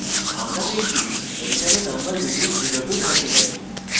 আমরা দেখি enter a number between 0 to 39